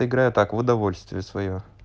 играю так в удовольствие своё